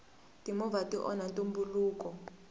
timovha ti onha ntumbuluko